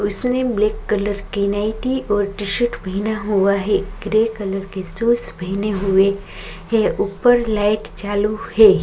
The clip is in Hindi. उसने ब्लैक कलर की नाइटी और टी-शर्ट पहना हुआ है ग्रे कलर के शूज पहने हुए हैं ऊपर लाइट चालू है।